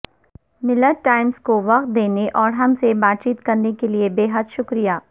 ملت ٹائمز کو وقت دینے اور ہم سے بات چیت کرنے کیلئے بیحد شکریہ